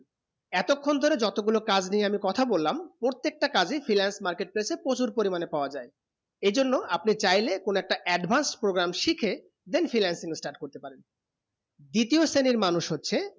এইতো খান ধরে যত গুলু কাজ নিয়ে আমি কথা বললাম প্রত্যেক তা কাজে freelance market place এ প্রচুর পরিমানে পাবা যায় এই জন্য আপনি চাইলে যে কোনো একটা advance programme শিখে then freelancing start করতে পারেন দ্বিতীয় শ্রেণী মানুষ হচ্ছে